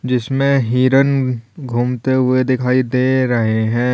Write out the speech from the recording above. जिसमें हिरन घूमते हुए दिखाई दे रहे हैं।